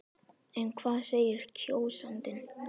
En hvað segir kjósandinn?